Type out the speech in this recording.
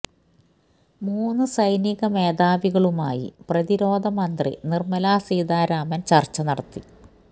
മൂന്ന് സൈനിക മേധാവികളുമായി പ്രതിരോധ മന്ത്രി നിര്മലാ സീതാരാമൻ ചര്ച്ച നടത്തി